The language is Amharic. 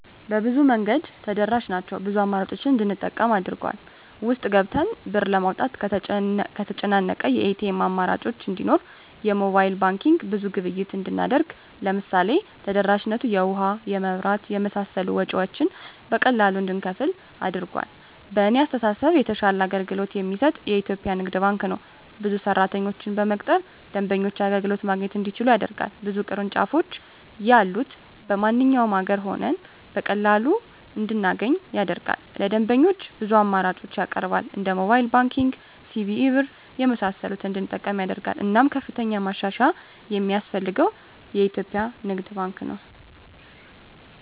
በብዙ መንገድ ተደራሽ ናቸው ብዙ አማራጮችን እንድንጠቀም አድርጎል። ውስጥ ገብተን ብር ለማውጣት ከተጨናነቀ የኤቲኤም አማራጮች እንዲኖር የሞባይል ባንኪንግ ብዙ ግብይት እንድናደርግ ለምሳሌ ተደራሽነቱ የውሀ, የመብራት የመሳሰሉ ወጭወችን በቀላሉ እንድንከፍል አድርጓል። በእኔ አስተሳሰብ የተሻለ አገልግሎት የሚሰጥ የኢትዪጵያ ንግድ ባንክ ነው። ብዙ ሰራተኞችን በመቅጠር ደንበኞች አገልግሎት ማግኘት እንዲችሉ ያደርጋል። ብዙ ቅርንጫፎች ያሉት በማንኛውም አገር ሆነን በቀላሉ እንድናገኝ ያደርጋል። ለደንበኞች ብዙ አማራጮችን ያቀርባል እንደ ሞባይል ባንኪንግ, ሲቢኢ ብር , የመሳሰሉትን እንድንጠቀም ያደርጋል። እናም ከፍተኛ ማሻሻያ የማስፈልገው የኢትዮጵያ ንግድ ባንክ ነው።